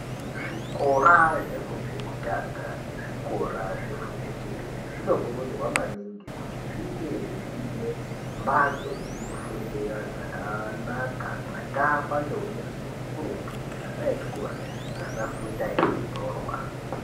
Zvikora zvefundo yekutanga nezvefundo yechipiri zvinokurudzirwa maningi kuti zvinge zviine mbatso dzekufundira dzakanaka dzakavakwa neunyanzvi ukurutu .